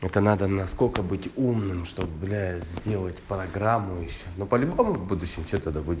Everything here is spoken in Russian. это надо насколько быть умным что блять сделать программу ещё но по любому будущем что то да будет